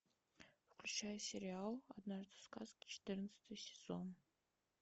включай сериал однажды в сказке четырнадцатый сезон